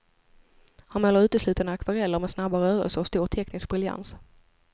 Han målar uteslutande akvareller, med snabba rörelser och stor teknisk briljans.